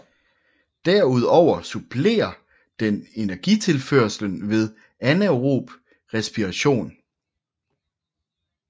Derudover supplerer den energitilførslen ved anaerob respiration